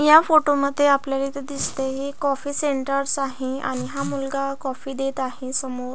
या फोटोमध्ये आपल्याला इथ दिसतय एक कॉफी सेंटर स आहे आणि हा मुलगा कॉफी देत आहे समोर --